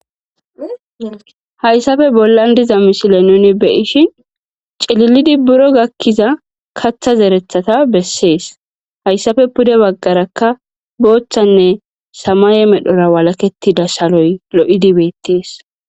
Hayssape bollan diza misile nuni be'ishin cililidi buro gakiza kaththa zereththata besees; hayssape pude bagaarakka boothanne samaye medhora walaketida shaloy lo'idi beetees.